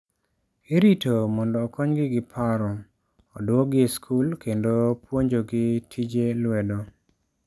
Irito mondo okonygi gi paro, oduokgi e skul, kendo puonjogi tije lwedo.